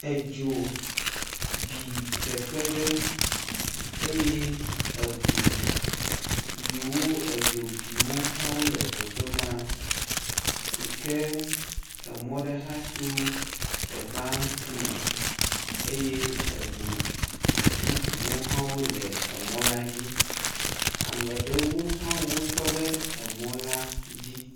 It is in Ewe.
Edzo bi teƒe ɖe eye eʋu yiwo edzo bi wo hã wole teƒe ma yike emɔ ɖe hã to teƒeɛ ŋkume eye eʋu bubuwo hã wole emɔ la dzi, ameɖewo hã wotɔ ɖe emɔ la dzi.